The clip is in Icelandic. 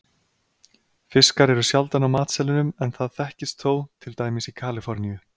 Fiskar eru sjaldan á matseðlinum en það þekkist þó, til dæmis í Kaliforníu.